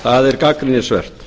það er gagnrýnisvert